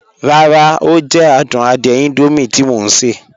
Ràrá, o jẹ̀ àdùn àdìẹ̀ Indomie tí mọ̀ n ṣẹ.